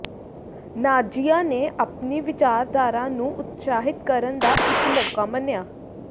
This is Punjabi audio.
ਨਾਜ਼ੀਆਂ ਨੇ ਆਪਣੀ ਵਿਚਾਰਧਾਰਾ ਨੂੰ ਉਤਸ਼ਾਹਿਤ ਕਰਨ ਦਾ ਇੱਕ ਮੌਕਾ ਮੰਨਿਆ